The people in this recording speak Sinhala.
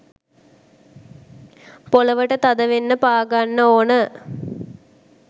පොලවට තද වෙන්න පාගන්න ඕන.